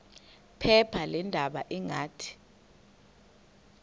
phepha leendaba ngathi